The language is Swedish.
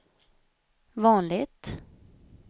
vanligt